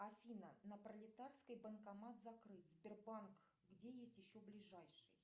афина на пролетарской банкомат закрыт сбербанк где есть еще ближайший